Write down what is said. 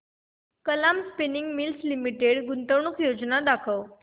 Kalam spinning mills limited गुंतवणूक योजना दाखव